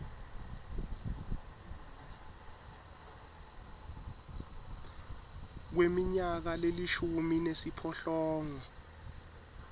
kweminyaka lelishumi nesiphohlongo